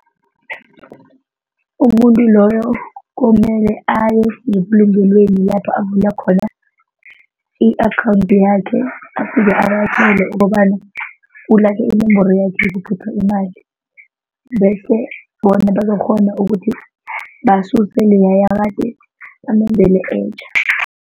Umuntu loyo komele aye ngebulungelweni lapho avula khona i-akhawundi yakhe afike abatjele ukobana ulahle inomboro yakhe yokukhipha imali bese bona bazokukghona ukuthi basuse leya yakade bamenzele etjha.